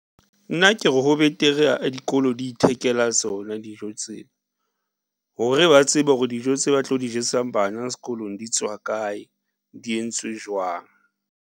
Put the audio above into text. Nna ke re, ho betere dikolo di ithekela tsona dijo tseo, hore ba tsebe hore dijo tse ba tlo di jesang bana sekolong di tswa kae, di entswe jwang.